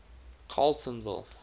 carletonville